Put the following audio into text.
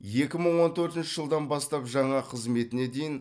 екі мың он төртінші жылдан бастап жаңа қызметіне дейін